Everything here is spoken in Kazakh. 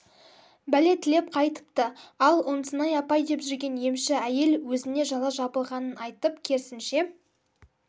бәле тілеп қайтыпты ал ұнсынай апай деп жүрген емші әйел өзіне жала жабылғанын айтып керісінше